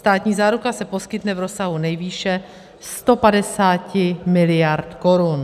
Státní záruka se poskytne v rozsahu nejvýše 150 miliard korun.